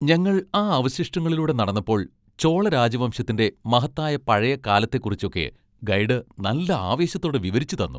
ഞങ്ങൾ ആ അവശിഷ്ടങ്ങളിലൂടെ നടന്നപ്പോൾ ചോള രാജവംശത്തിന്റെ മഹത്തായ പഴയ കാലത്തെക്കുറിച്ചൊക്കെ ഗൈഡ് നല്ല ആവേശത്തോടെ വിവരിച്ചു തന്നു.